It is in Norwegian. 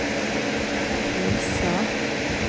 krisa